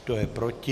Kdo je proti?